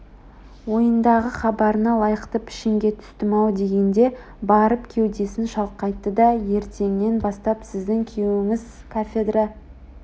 ойындағы хабарына лайықты пішінге түстім-ау дегенде барып кеудесін шалқайтты да ертеңнен бастап сіздің күйеуіңіз кафедра